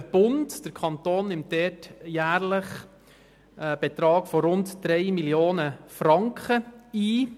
der Kanton nimmt dort jährlich einen Betrag von rund 3 Mio. Franken ein.